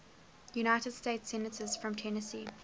united states senators from tennessee